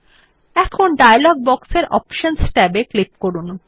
এখন ডায়লগ বক্সের অপশনস ট্যাবে ক্লিক করুন